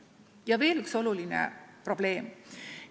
Ja veel üks oluline probleem.